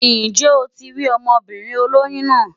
Ǹjẹ́ o ti rí ọmọbìnrin olóyún náà?